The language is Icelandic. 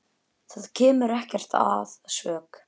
Það kemur ekkert að sök.